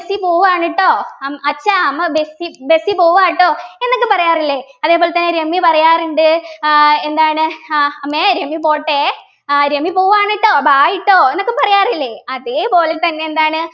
Bessy പോവ്വാണ് ട്ടോ അം അച്ഛാ അമ്മ ബെസ്സി ബെസ്സി പോവ്വാ ട്ടോ എന്നൊക്കെ പറയാറില്ലേ അതേപോലെതന്നെ രമ്യ പറയാറുണ്ട് ആഹ് എന്താണ് ആഹ് അമ്മേ രമ്യ പോട്ടെ ആഹ് രമ്യ പോവ്വാണ് ട്ടോ bye ട്ടോ എന്നൊക്കെ പറയാറില്ലേ അതെ പോലെത്തന്നെ എന്താണ്